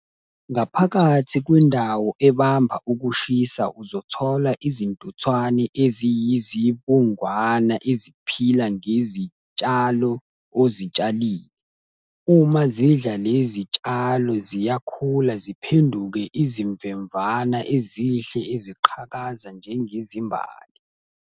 Ngaphakathi kwendawo ebamba ukushisa uzothola izintuthwane eziyizibungwana eziphila ngezitshalo, ozitshalile. Uma zidla lezi tshalo ziyakhula, ziphenduke izimvemvana, ezihle, eziqhakaza njengezimbali.